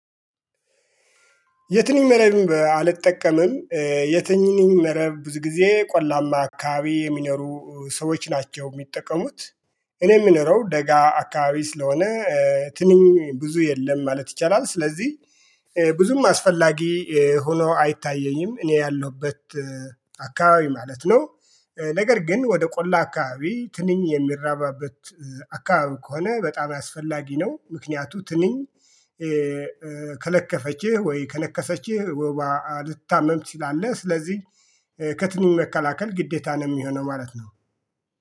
የትንኝ መረብ አልጠቀመም። የትንኝ መረብ ብዙ ጊዜ ቆላማ አካባቢ የሚኖሩ ሰዎች ናቸው የሚጠቀሙት። እኔ የምኖረው ደጋ አካባቢ ስለሆነ ትንኝ ብዙ የለም ማለት ይቻላል። ስለዚህ ብዙም አስፈላጊ ሆኖ አይታየኝም። እኔ ያለሁበት አካባቢ ማለት ነው። ነገር ግን ወደ ቆላ አካባቢ ትንኝ የሚራባበት አካባቢ ከሆነ በጣም አስፈላጊ ነው። ምክንያቱ ትንኝ ከለከፈችህ ወይ ከነከሰችህ ወባ ልትታመም ትችላለህ። ስለዚህ ከትንኝ መከላከል ግዴታ ነው የሚሆነው ማለት ነው